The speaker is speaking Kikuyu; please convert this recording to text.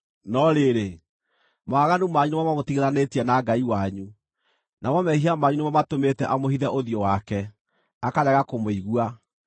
No rĩrĩ, mawaganu manyu nĩmo mamũtigithanĩtie na Ngai wanyu; namo mehia manyu nĩmo matũmĩte amũhithe ũthiũ wake, akarega kũmũigua.